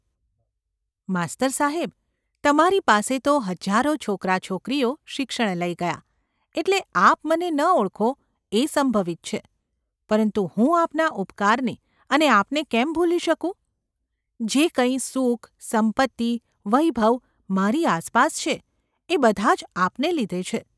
માસ્તર સાહેબ ! તમારી પાસે તો હજારો છોકરા છોકરીઓ શિક્ષણ લઈ ગયાં એટલે આપ મને ન ઓળખો એ સંભવિત છે; પરંતુ હું આપના ઉપકારને અને આપને કેમ ભૂલી શકું ? જે કંઈ સુખ, સંપત્તિ, વૈભવ મારી આસપાસ છે એ બધાં જ આપને લીધે છે.